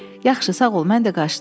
Yaxşı, sağ ol, mən də qaçdım.